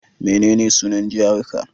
Menene sunan jihar ka?